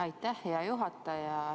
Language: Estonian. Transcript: Aitäh, hea juhataja!